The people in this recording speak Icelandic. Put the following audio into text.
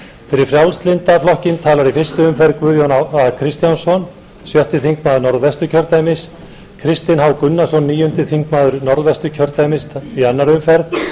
fyrir frjálslynda flokkinn tala í fyrstu umferð guðjón a kristjánsson sjötti þingmaður norðvesturkjördæmis kristinn h gunnarsson níundi þingmaður norðvesturkjördæmis í annarri umferð